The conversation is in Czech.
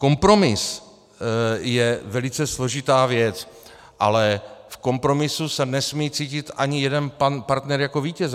Kompromis je velice složitá věc, ale v kompromisu se nesmí cítit ani jeden partner jako vítěz.